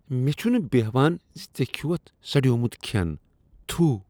مےٚ چھنہٕ بیہان ز ژےٚ کھیوتھ سڑیومت کھین۔ تھُو!